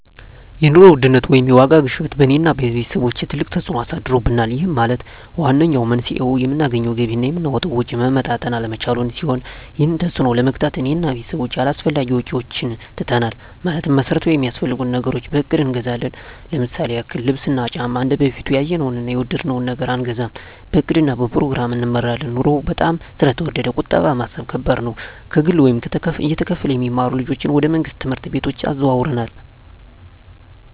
የኑሮ ውድነት ወይም የዋጋ ግሽበት በእኔ እና በቤተሰቦቸ ትልቅ ተፅእኖ አሳድሮብናል ይህም ማለት ዋነኛው መንስኤው የምናገኘው ገቢ እና የምናወጣው ወጪ መመጣጠን አለመቻሉን ሲሆን ይህንን ተፅዕኖ ለመግታት እኔ እና ቤተሰቦቸ አላስፈላጊ ወጪዎችን ትተናል ማለትም መሠረታዊ ሚያስፈልጉንን ነገሮች በእቅድ እንገዛለን ለምሳሌ ያክል ልብስ እና ጫማ እንደበፊቱ ያየነውን እና የወደድነውን ነገር አንገዛም በእቅድ እና በፕሮግራም እንመራለን ኑሮው በጣም ስለተወደደ ቁጠባ መሣብ ከባድ ነው። ከግል ወይም እየተከፈለ የሚማሩ ልጆችን ወደ መንግሥት ትምህርት ቤቶች አዘዋውረናል።